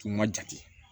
K'i ma jate